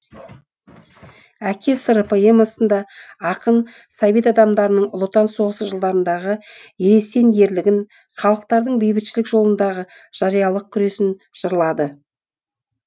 әке сыры поэмасында ақын совет адамдарының ұлы отан соғысы жылдарындағы ересен ерлігін халықтардың бейбітшілік жолындагы жариялық күресін жырлады